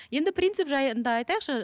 енді принцип жайында айтайықшы